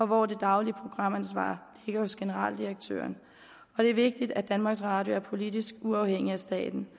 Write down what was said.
hvor det daglige programansvar ligger hos generaldirektøren og det er vigtigt at danmarks radio er politisk uafhængig af staten